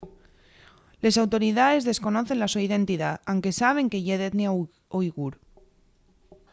les autoridaes desconocen la so identidá anque saben que ye d'etnia uighur